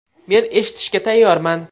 Men eshitishga tayyorman.